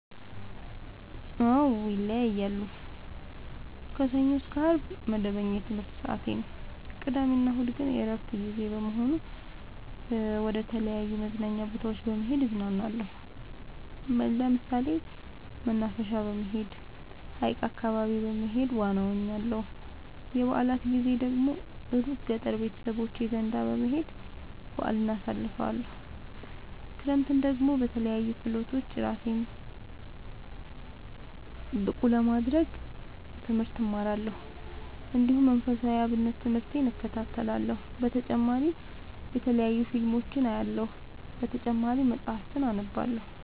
አዎ ይለያያለሉ። ከሰኞ እስከ አርብ መደበኛ የትምህርት ሰዓቴ ነው። ቅዳሜ እና እሁድ ግን የእረፍት ጊዜ በመሆኑ መደተለያዩ መዝናኛ ቦታዎች በመሄድ እዝናናለሁ። ለምሳሌ መናፈሻ በመሄድ። ሀይቅ አካባቢ በመሄድ ዋና እዋኛለሁ። የበአላት ጊዜ ደግሞ እሩቅ ገጠር ቤተሰቦቼ ዘንዳ በመሄድ በአልን አሳልፍለሁ። ክረምትን ደግሞ በለያዩ ክህሎቶች እራሴን ብቀሐ ለማድረግ ትምህርት እማራለሁ። እንዲሁ መንፈሳዊ የአብነት ትምህርቴን እከታተላለሁ። በተጨማሪ የተለያዩ ፊልሞችን አያለሁ። በተጨማሪም መፀሀፍትን አነባለሁ።